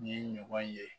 Ni ye ɲɔgɔn ye